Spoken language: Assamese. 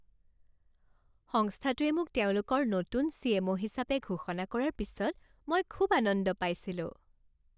সংস্থাটোৱে মোক তেওঁলোকৰ নতুন চি.এম.অ. হিচাপে ঘোষণা কৰাৰ পিছত মই খুব আনন্দ পাইছিলোঁ।